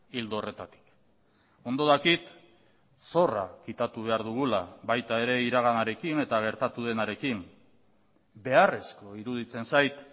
ildo horretatik ondo dakit zorra kitatu behar dugula baita ere iraganarekin eta gertatu denarekin beharrezko iruditzen zait